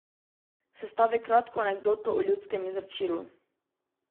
Sestavi kratko anketo o ljudskem izročilu.